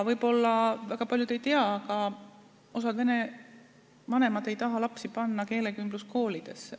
Võib-olla väga paljud ei tea, aga osa vene vanemaid ei taha panna lapsi keelekümbluskooli.